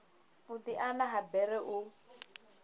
u diana ha bere u